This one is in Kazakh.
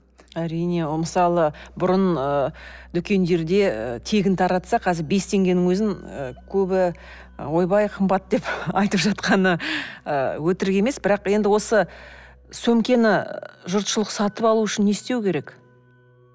әрине ол мысалы бұрын ыыы дүкендерде тегін таратса қазір бес теңгенің өзін көбі ойбай қымбат деп айтып жатқаны ы өтірік емес бірақ енді осы сөмкені жұртшылық сатып алу үшін не істеу керек